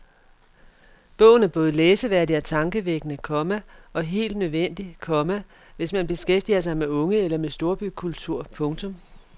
Bogen er både læseværdig og tankevækkende, komma og helt nødvendig, komma hvis man beskæftiger sig med unge eller med storbykultur. punktum